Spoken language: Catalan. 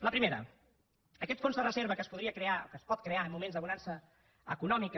la primera aquest fons de reserva que es podria crear o que es pot crear en moments de bonança econòmica